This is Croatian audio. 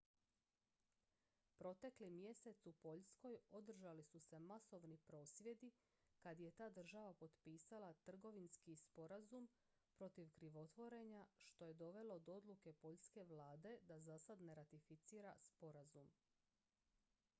protekli mjesec u poljskoj održali su se masovni prosvjedi kad je ta država potpisala trgovinski sporazum protiv krivotvorenja što je dovelo do odluke poljske vlade da zasad ne ratificira sporazum